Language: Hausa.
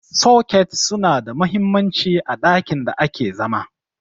soket suna da mahimmanci a ɗakin da ake zama